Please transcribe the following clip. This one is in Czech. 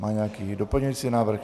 Má nějaký doplňující návrh?